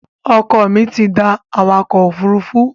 Ọkọ mi tí da awakò ofúrufú